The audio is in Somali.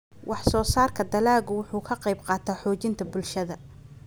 Wax-soo-saarka dalaggu wuxuu ka qaybqaataa xoojinta bulshada.